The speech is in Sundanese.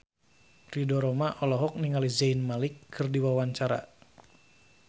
Ridho Roma olohok ningali Zayn Malik keur diwawancara